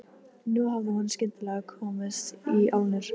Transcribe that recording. Nú hafði hún skyndilega komist í álnir.